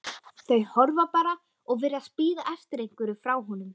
Þau horfa bara og virðast bíða eftir einhverju frá honum.